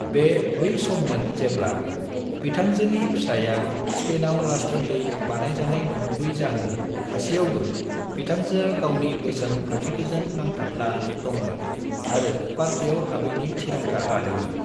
बे बै सम्मोन जेब्ला, बिथांजोनि फिसाया स्पेनाव राजथान्दै बानायजानाय नंगुबै जाहोन थासेयावबो बिथांजोआ गावनि बोसोन खान्थिफोरजों नांथाबना दंमोन आरो पार्टीयाव हाबैनि थिरांथा लादोंमोन।